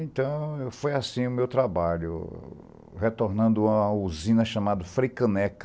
Então, foi assim o meu trabalho, retornando a uma usina chamada Fricaneca.